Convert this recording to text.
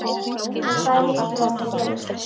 En hvað er líklegast að gerist?